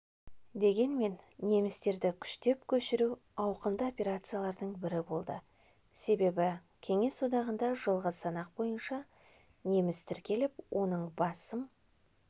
дегенмен немістерді күштеп көшіру ауқымды операциялардың бірі болды себебі кеңес одағында жылғы санақ бойынша неміс тіркеліп оның басым